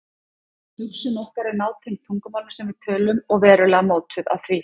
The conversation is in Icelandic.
Hugsun okkar er nátengd tungumálinu sem við tölum og verulega mótuð af því.